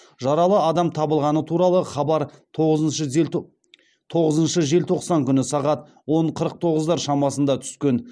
жаралы адам табылғаны туралы хабар тоғызыншы желтоқсан күні сағат он қырық тоғыздар шамасында түскен